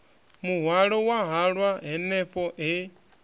muhwalo wa halwa hanefho he